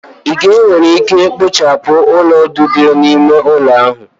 Ị ga-enwe ike ikpochapụ ulo udide n'ime ụlọ ahụ